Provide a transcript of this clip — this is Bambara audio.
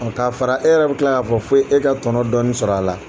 Nka fara e yɛrɛ bɛ tila k'a fo e ka tɔnɔ dɔɔnin sɔrɔ a la